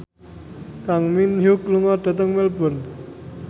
Kang Min Hyuk lunga dhateng Melbourne